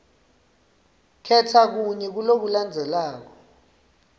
khetsa kunye kulokulandzelako